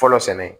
Fɔlɔ sɛnɛ